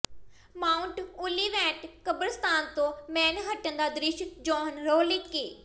Mount Olivet ਕਬਰਸਤਾਨ ਤੋਂ Manhattan ਦਾ ਦ੍ਰਿਸ਼ ਜੋਹਨ ਰੋਲੇਕੇ